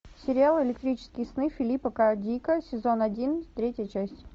сериал электрические сны филипа к дика сезон один третья часть